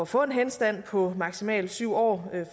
få en henstand på maksimalt syv år